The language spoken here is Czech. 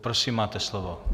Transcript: Prosím, máte slovo.